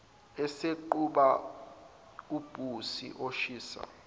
eseqhuba ubhisi oshisha